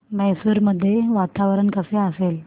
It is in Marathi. मैसूर मध्ये वातावरण कसे असेल